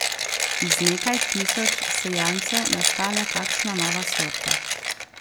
Iz nekaj tisoč sejancev nastane kakšna nova sorta.